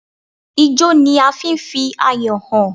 Ijọ́ ni a fi ń fi ayọ̀ hàn.